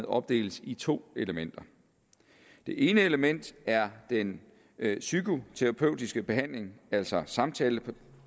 opdeles i to elementer det ene element er den psykoterapeutiske behandling altså samtaleterapi